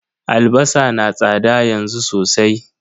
Albasa na tsada yanzu sosai.